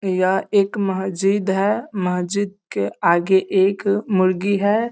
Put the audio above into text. यह एक महजिद है महाजिद के आगे एक मुर्गी है |